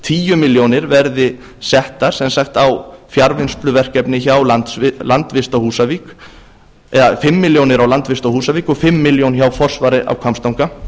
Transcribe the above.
fimm milljónir verði settar á fjarvinnsluverkefni hjá landvist á húsavík og fimm milljónir hjá forsvari á hvammstanga